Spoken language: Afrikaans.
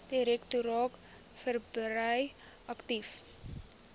direktoraat verbrei aktief